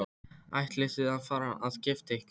Ætlið þið að fara að gifta ykkur?